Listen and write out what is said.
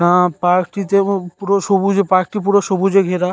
না পার্ক টি তেবু পুরো সবুজে পার্ক টি পুরো সবুজে ঘেরা--